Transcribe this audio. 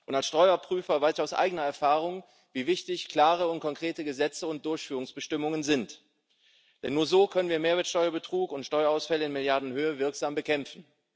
Als Steuerprüfer weiß ich aus eigener Erfahrung, wie wichtig klare und konkrete Gesetze und Durchführungsbestimmungen sind, denn nur so können wir Mehrwertsteuerbetrug und Steuerausfälle in Milliardenhöhe wirksam bekämpfen.